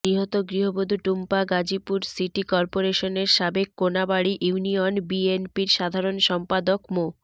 নিহত গৃহবধূ টুম্পা গাজীপুর সিটি করপোরেশনের সাবেক কোনাবাড়ি ইউনিয়ন বিএনপির সাধারণ সম্পাদক মো